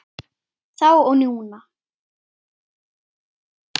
Þá og núna.